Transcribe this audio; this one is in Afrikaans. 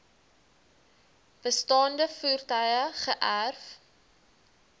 bestaande voertuie geërf